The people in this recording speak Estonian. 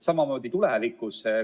Samamoodi on tulevikus.